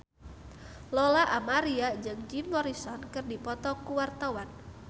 Lola Amaria jeung Jim Morrison keur dipoto ku wartawan